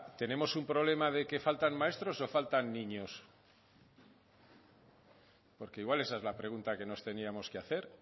tenemos un problema de que faltan maestros o faltan niños porque igual esa es la pregunta que nos teníamos que hacer